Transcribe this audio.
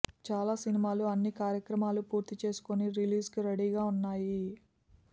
చాలా సినిమాలు అన్ని కార్యక్రమాలు పూర్తి చేసుకొని రిలీజ్కు రెడీ గా ఉన్నాయి